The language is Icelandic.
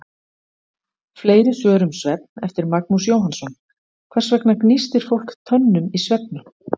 Fleiri svör um svefn, eftir Magnús Jóhannsson: Hvers vegna gnístir fólk tönnum í svefni?